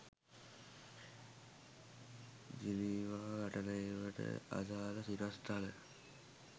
Geneva වටලෑමට අදාළ සිරස්තල